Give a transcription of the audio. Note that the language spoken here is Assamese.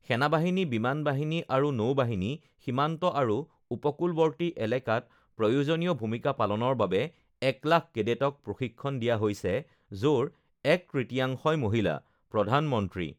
সেনাবাহিনী, বিমান বাহিনী আৰু নৌবাহিনী, সীমান্ত আৰু উপকূলৱৰ্তী এলেকাত প্ৰয়োজনীয় ভূমিকা পালনৰ বাবে ১ লাখ কেডেটক প্ৰশিক্ষণ দিয়া হৈছে, য'ৰ এক তৃতীয়াংশই মহিলাঃ প্ৰধানমন্ত্ৰী